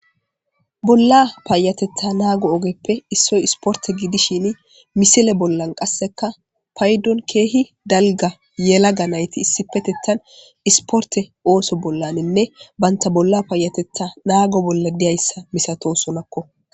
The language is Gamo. Bolla paayatetta naago ogeppe issoy isporte gidishini misile bollan qasseka paydon keehi dalga yelaga nayti issipetettan isporte ooso bollaninne baynta bolla paayatetta naago bolla diyayssa misato sonakko.